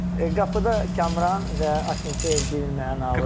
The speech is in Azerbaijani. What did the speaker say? Qapıda Kamran və Akimfeyev birin mənalıdı.